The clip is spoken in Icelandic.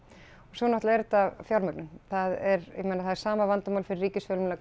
svo náttúrulega er þetta fjármögnun það er ég meina það er sama vandamál fyrir ríkisfjölmiðla